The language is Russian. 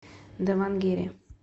давангере